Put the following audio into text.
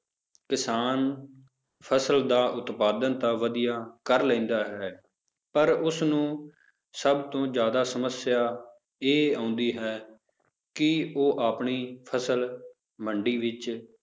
ਕਿਸਾਨ ਫਸਲ ਦਾ ਉਤਪਾਦਨ ਤਾਂ ਵਧੀਆ ਕਰ ਲੈਂਦਾ ਹੈ ਪਰ ਉਸਨੂੰ ਸਭ ਤੋਂ ਜ਼ਿਆਦਾ ਸਮੱਸਿਆ ਇਹ ਆਉਂਦੀ ਹੈ ਕਿ ਉਹ ਆਪਣੀ ਫਸਲ ਮੰਡੀ ਵਿੱਚ